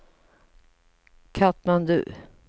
Katmandu